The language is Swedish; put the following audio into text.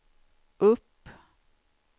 upp